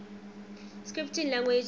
scripting languages